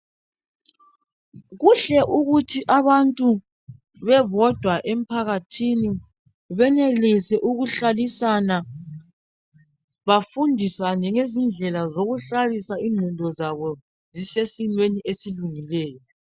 Kuhle ukuthi abantu bebodwa emphakathini benelise ukuhlabisana bafundisane ngezindlela zokuhlalisa ingqondo zabo zisesimeni esilungileyo.